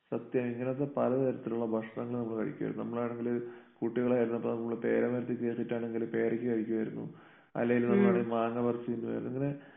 സത്യം ഇങ്ങനത്തെ പല തരത്തിലുള്ള ഭക്ഷണങ്ങൾ നമ്മൾ കഴിക്കുമായിരുന്നു. നമ്മളാണെങ്കില് കുട്ടികളായിരുന്നപ്പോ നമ്മള് പേര മരത്തിൽ കയറിയിട്ടാണെങ്കില് പേരക്ക കഴിക്കുമായിരുന്നു. അല്ലേല് നമ്മള് മാങ്ങ പറിച്ചു തീരുമായിരുന്നു ഇങ്ങനെ